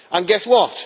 And guess what?